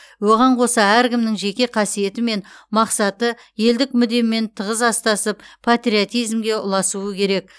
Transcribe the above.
оған қоса әркімнің жеке қасиеті мен мақсаты елдік мүдемен тығыз астасып патриотизмге ұласуы керек